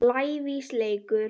lævís leikur.